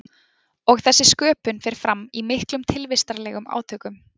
Og þessi sköpun fer fram í miklum tilvistarlegum átökum.